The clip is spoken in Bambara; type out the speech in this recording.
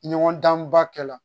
Ɲɔgɔn danba kɛla